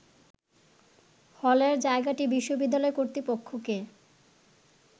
হলের জায়গাটি বিশ্ববিদ্যালয় কর্তৃপক্ষকে